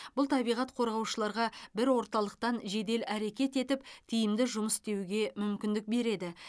бұл табиғат қорғаушыларға бір орталықтан жедел әрекет етіп тиімді жұмыс істеуге мүмкіндік береді